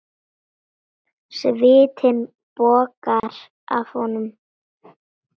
Svitinn bogar af honum.